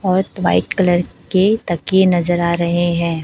और white colour के ताकिये नजर आ रहे हैं।